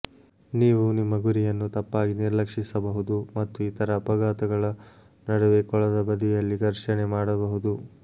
ನೀವು ನಿಮ್ಮ ಗುರಿಯನ್ನು ತಪ್ಪಾಗಿ ನಿರ್ಲಕ್ಷಿಸಬಹುದು ಮತ್ತು ಇತರ ಅಪಘಾತಗಳ ನಡುವೆ ಕೊಳದ ಬದಿಯಲ್ಲಿ ಘರ್ಷಣೆ ಮಾಡಬಹುದು